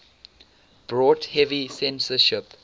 brought heavy censorship